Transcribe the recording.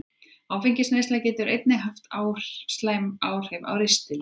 Áfengisneysla getur einnig haft slæmt áhrif á ristilinn.